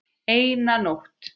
Eina nótt.